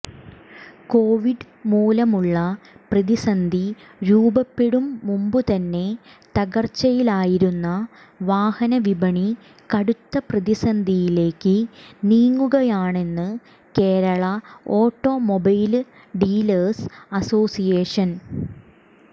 Covid മൂലമുള്ള പ്രതിസന്ധി രൂപപ്പെടും മുമ്പുതന്നെ തകര്ച്ചയിലായിരുന്ന വാഹന വിപണി കടുത്ത പ്രതിസന്ധിയിലേക്ക് നീങ്ങുകയാണെന്ന് കേരള ഓട്ടോമൊബൈല് ഡീലേഴ്സ് അസോസിയേഷന്